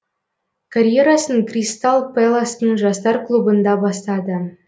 карьерасын кристалл пэластың жастар клубында бастады